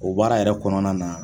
O baara yɛrɛ kɔnɔna na